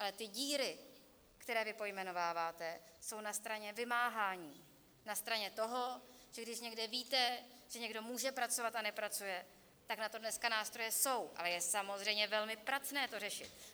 Ale ty díry, které vy pojmenováváte, jsou na straně vymáhání, na straně toho, že když někde víte, že někdo může pracovat a nepracuje, tak na to dneska nástroje jsou, ale je samozřejmě velmi pracné to řešit.